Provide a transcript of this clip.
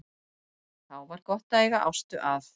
Þá var gott að eiga Ástu að.